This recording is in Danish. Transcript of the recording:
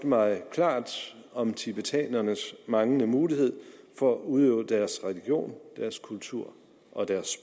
mig klart om tibetanernes manglende mulighed for at udøve deres religion deres kultur og deres